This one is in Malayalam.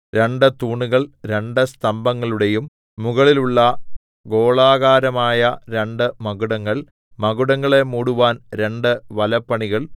രണ്ട് തൂണുകൾ രണ്ട് സ്തംഭങ്ങളുടെയും മുകളിലുള്ള ഗോളാകാരമായ രണ്ട് മകുടങ്ങൾ മകുടങ്ങളെ മൂടുവാൻ രണ്ട് വലപ്പണികൾ